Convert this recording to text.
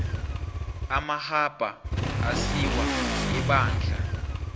amarhabha asiwa ebandla